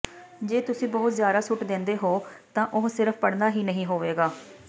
ਜੇ ਤੁਸੀਂ ਬਹੁਤ ਜ਼ਿਆਦਾ ਸੁੱਟ ਦਿੰਦੇ ਹੋ ਤਾਂ ਉਹ ਸਿਰਫ਼ ਪੜ੍ਹਨਾ ਹੀ ਨਹੀਂ ਹੋਵੇਗਾ